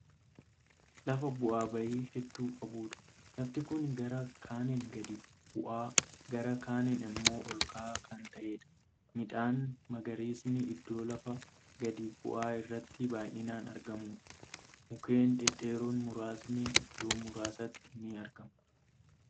Lafa bu'aa bahii hedduu qabuudha. lafti Kuni gara kaaniin gadi bu'aa gara kaaniin immoo olka'aa Kan ta'eedha. midhaan magariisni iddoo lafa gadi bu'aa irratti baay'inaan argamu. mukkeen dhedheeroon muraasni iddoo muraasatti ni argamu.